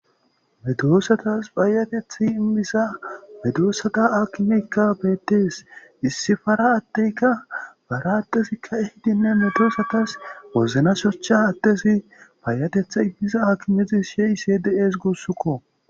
medoossatas baayatethi immisa medoossata akimekka beettees issifara atteyka bara attesikka ehidinne medoosatas wozna shocha adtesi baayatetha immisa akimezis heyse de7ees gussukko